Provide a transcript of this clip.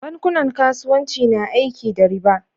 bankunan kasuwanci na aiki da riba